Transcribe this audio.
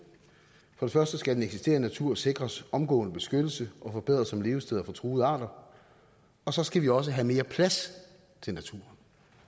for det første skal den eksisterende natur sikres omgående beskyttelse og forbedres som levested for truede arter og så skal vi også have mere plads til naturen